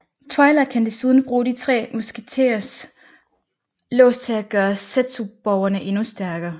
Twilight kan desuden bruge de tre musketers lås til at gøre zetsuborgene endnu stærkere